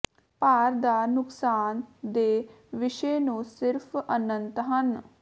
ਭਾਰ ਦਾ ਨੁਕਸਾਨ ਦੇ ਵਿਸ਼ੇ ਨੂੰ ਸਿਰਫ਼ ਅਨੰਤ ਹਨ